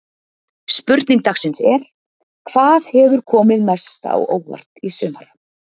Spurning dagsins er: Hvað hefur komið mest á óvart í sumar?